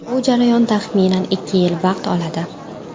Bu jarayon taxminan ikki yil vaqt oladi.